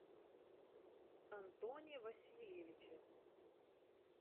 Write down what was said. антоне васильевиче